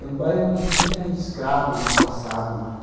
É um bairro onde tinha escravos no passado, né?